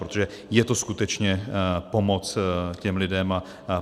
Protože je to skutečně pomoc těm lidem.